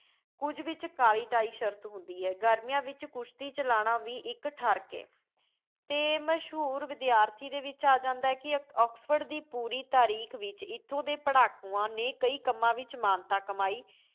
ਕੁੱਝ ਵਿੱਚ ਕਾਲ਼ੀ ਟਾਈ ਸ਼ਰਤ ਹੁੰਦੀ ਏ। ਗਰਮੀਆਂ ਵਿੱਚ ਕੁਸ਼ਤੀ ਚਲਾਣਾ ਵੀ ਇੱਕ ਠਰਕ ਏ ਅਤੇ ਮਸ਼ਹੂਰ ਵਿਦਿਆਰਥੀ ਦੇ ਵਿੱਚ ਆ ਜਾਂਦਾ ਹੈ ਕਿ ਆਕਸਫ਼ੋਰਡ ਦੀ ਪੂਰੀ ਤਰੀਖ਼ ਵਿੱਚ ਇੱਥੇ ਦੇ ਪੜ੍ਹਾਕੂਆਂ ਨੇ ਕਈ ਕੰਮਾਂ ਵਿੱਚ ਮਾਨਤਾ ਕਮਾਈ।